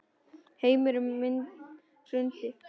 Heimur minn hrundi.